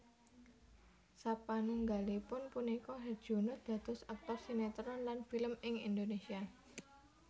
Sapanunggalipun punika Herjunot dados aktor sinetron lan film ing Indonesia